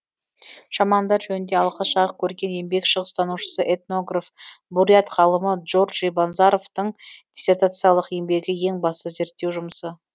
шамандар жөнінде алғаш жарық көрген еңбек шығыстанушысы этнограф бурят ғалымы доржи банзаровтың диссертациялық еңбегі ең басты зерттеу жұмысы